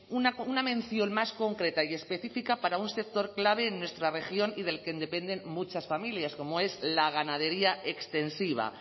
una mención más concreta y específica para un sector clave en nuestra región y del que dependen muchas familias como es la ganadería extensiva